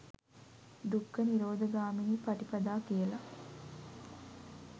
දුක්ඛ නිරෝධ ගාමිනී පටිපදා කියලා.